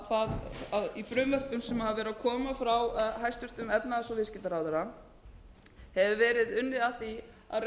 það að í frumvörpum sem hafa verið að koma frá hæstvirtum efnahags og viðskiptaráðherra hefur verið unnið að